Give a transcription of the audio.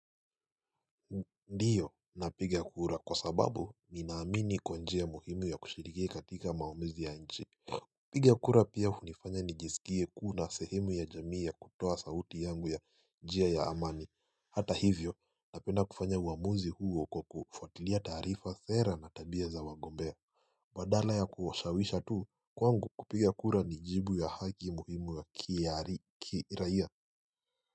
Ndio na piga kura kwa sababu ninaamini kwa njia muhimu ya kushiriki katika maamuzi ya nchi kupiga kura pia hunifanya nijisikie kuna sehemu ya jamii ya kutoa sauti yangu ya njia ya amani Hata hivyo na penda kufanya uamuzi huo kwa kufatilia tarifa thera na tabia za wagombea Badala ya kuwashawisha tu kwangu kupiga kura ni jibu ya haki muhimu wa kiaari kiraia.